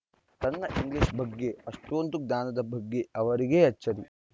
ತನ್ನ ಇಂಗ್ಲೀಷ್‌ ಬಗ್ಗೆ ಅಷ್ಟೊಂದು ಜ್ಞಾನದ ಬಗ್ಗೆ ಅವರಿಗೇ ಅಚ್ಚರಿ